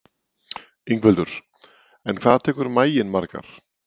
Ingveldur: En hvað tekur maginn margar?